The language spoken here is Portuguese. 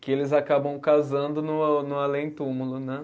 que eles acabam casando no no além túmulo, né?